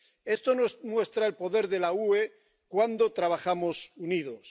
Esto nos muestra el poder de la UE cuando trabajamos unidos.